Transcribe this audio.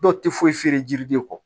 Dɔw tɛ foyi feere yiri de kɔ